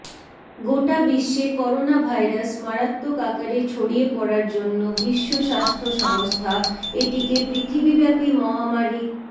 গোটা বিশ্বে corona virus মারাত্মক আকারে ছড়িয়ে পড়ার জন্য বিশ্ব স্বাস্থ্য সংস্থা এটিকে পৃথিবীব্যাপি মহামারি